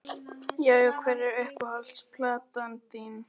Já Já Hver er uppáhalds platan þín?